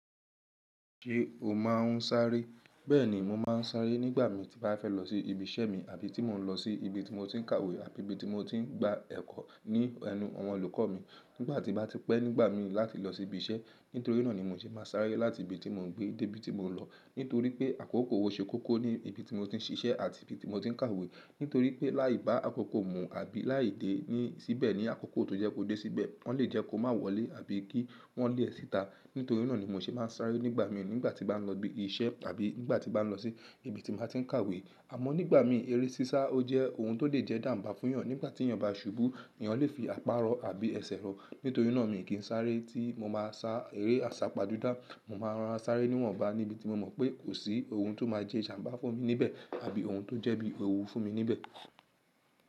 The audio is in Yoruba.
Ṣé o máa ń sáré? Bẹ́ẹ̀ni, mo máa ń sáré nígbà min tí mo bá fẹ́ lọ sí ibi iṣẹ́ mi àbí tí mò ń lọ sí ibi tí mo ti ń kàwé àbí ibi tí mo ti ń gba ẹ̀kọ́ ní ẹnu àwọn olùkọ́ mi. Nígbà tí bá ti pẹ́ nígbà min láti lọ sí ibi iṣẹ́, nítorí náà ni mo ṣe máa sáré láti ibi tí mò ń gbé dé ibi tí mò ń lọ. Nítorí pé àkókò o ṣe kóko ní ibi tí mo ti ń ṣiṣẹ́ àti ibi tí mo ti ń kàwé. Nítorí pé láì bá àkókò mú àbí láì dé síbẹ̀ ní àkókò tó yẹ́ kó dé síbẹ̀, wọ́n lè jẹ́ kó má wọlé àbí kí wọ́n lẹ̀ ẹ síta. Nítorí náà ni mo ṣe máa ń sáré nígbà mi nígbà tí bá ń lọ ibi iṣẹ́ àbí nígbà tí bá ń lọ sí ibi tí mo bá ti ń kàwé. Àmọ́ nígbà mi, eré sísá ó jẹ́ ohun tó lè jẹ́ ìjàmbá fún èèyàn. Nígbà tí èyàn bá ṣubú, èèyàn lè fi àparọ́ àbí ẹsẹ̀ rọ. Nítorí náà mi kì n sáré tí mo bá sa eré àsápajúdá. Mo máa ń rorora sáré níwọ̀nba níbi tí mo mọ̀ pé kò sí ohun tó máa sẹ́ ìjàmbá fún mi níbẹ̀ àbí ohun tó jẹ́ bí ewú fún mi níbẹ̀.